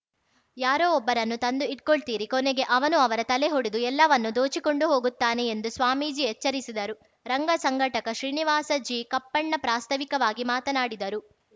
ಯಾರೋ ಒಬ್ಬರನ್ನು ತಂದು ಇಟ್ಕೊಳ್ತೀರಿ ಕೊನೆಗೆ ಅವನು ಅವರ ತಲೆ ಒಡೆದು ಎಲ್ಲವನ್ನೂ ದೋಚಿಕೊಂಡು ಹೋಗ್ತಾನೆ ಎಂದು ಸ್ವಾಮೀಜಿ ಎಚ್ಚರಿಸಿದರು ರಂಗ ಸಂಘಟಕ ಶ್ರೀನಿವಾಸ ಜಿಕಪ್ಪಣ್ಣ ಪ್ರಾಸ್ತಾವಿಕವಾಗಿ ಮಾತನಾಡಿದರು